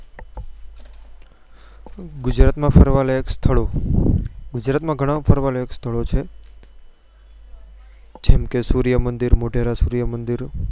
ગુજરાત માં ફરવા લાયક સ્થળો ગુજરાત માં ગણા ફરવા લાયક સ્થળો છે જેમ કે સૂર્ય મંદિર મોઢેરા સૂર્ય મંદિર